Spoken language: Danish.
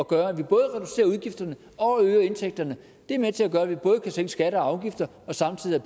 gøre at vi både reducerer udgifterne og øger indtægterne og det er med til at gøre at vi både kan sænke skatter og afgifter og samtidig